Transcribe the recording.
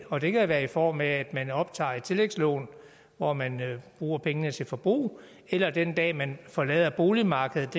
og det kan være i form af at man optager et tillægslån hvor man bruger pengene til forbrug eller den dag man forlader boligmarkedet